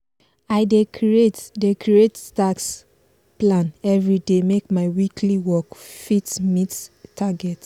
i dey create dey create task plan everyday make my weekly work fit meet target.